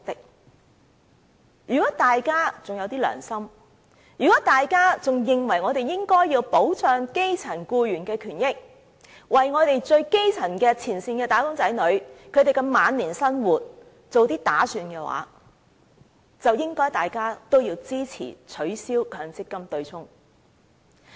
所以，如果大家還有一點良心，認為我們應該保障基層僱員的權益，為基層前線"打工仔女"的晚年生活做些打算，大家便應該支持取消強積金對沖。